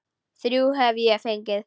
Þrjú hef ég fengið.